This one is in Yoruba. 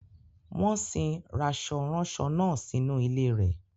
Wọ́n sin rasọ-ranso náà sínú ilé rẹ̀.